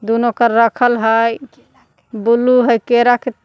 दोनो के रखल हय ब्लू हइ केरा के --